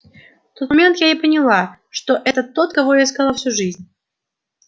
в тот момент я и поняла что это тот кого я искала всю жизнь